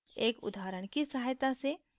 एक उदाहरण की सहायता से